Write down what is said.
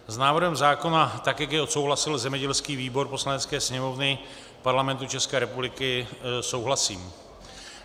S návrhem zákona, tak jak jej odsouhlasil zemědělský výbor Poslanecké sněmovny Parlamentu České republiky, souhlasím.